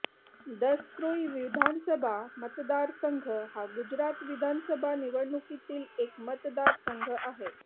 दसक्रोई विधानसभा मतदारसंघ हा गुजरात विधानसभा निवडणुकीतील एक मतदारसंघ आहे